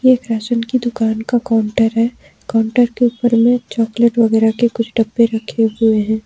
ये फैशन की दुकान का काउंटर है काउंटर के ऊपर में चॉकलेट वगैरह के कुछ डब्बे रखे हुए हैं।